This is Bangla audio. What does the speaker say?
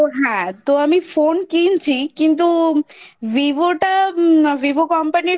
তো হ্যাঁ তো আমি Phone কিনছি কিন্তু VIVO টা VIVO Company র